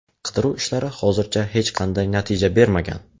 Qidiruv ishlari hozircha hech qanday natija bermagan.